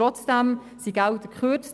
Trotzdem wurden Gelder gekürzt.